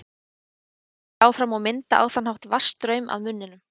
Þannig synda þær áfram og mynda á þann hátt vatnsstraum að munninum.